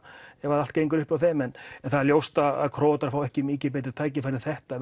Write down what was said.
ef allt gengur upp hjá þeim en það er ljóst að Króatar fái ekki mikið betra tækifæri en þetta